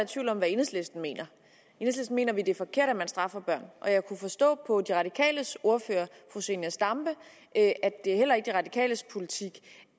i tvivl om hvad enhedslisten mener i enhedslisten mener vi det er forkert at man straffer børn og jeg kunne forstå på de radikales ordfører fru zenia stampe at det heller ikke er de radikales politik